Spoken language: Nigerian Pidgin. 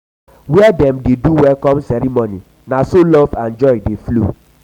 where dem dey do welcome ceremony na so love and joy dey flow.